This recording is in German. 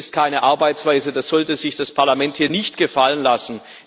Das ist keine Arbeitsweise, das sollte sich das Parlament nicht gefallen lassen.